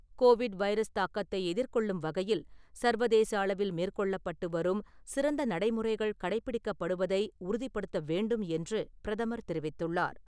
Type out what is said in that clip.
Covid virus தாக்கத்தை எதிர்கொள்ளும் வகையில் சர்வதேச அளவில் மேற்கொள்ளப்பட்டு வரும் சிறந்த நடைமுறைகள் கடைப்பிடிக்கப்படுவதை உறுதிப்படுத்த வேண்டும் என்று பிரதமர் தெரிவித்துள்ளார்.